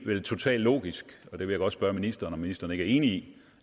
totalt logisk jeg vil godt spørge ministeren om ministeren ikke er enig